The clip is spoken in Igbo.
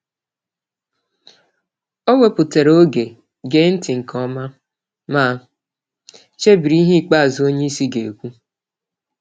O wepụtara oge gee ntị nke ọma, ma chebiri ihe ikpeazụ onyeisi gekwu